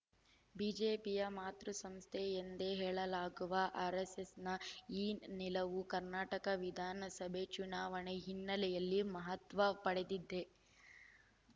ಬಿಜೆಪಿಯ ಮಾತೃ ಸಂಸ್ಥೆ ಎಂದೇ ಹೇಳಲಾಗುವ ಆರೆಸ್ಸೆಸ್‌ನ ಈ ನಿಲವು ಕರ್ನಾಟಕ ವಿಧಾನಸಭೆ ಚುನಾವಣೆ ಹಿನ್ನೆಲೆಯಲ್ಲಿ ಮಹತ್ವ ಪಡೆದಿದೆ